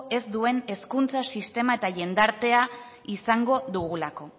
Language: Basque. ez duen hezkuntza sistema eta jendartea izango dugulako